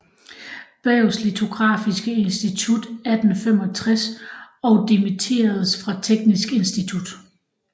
Berghs litografiske Institut 1865 og dimitteredes fra Teknisk Institut